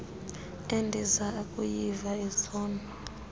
endiza kuyiva izolo